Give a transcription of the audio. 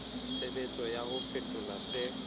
tshebetso ya ho fetola se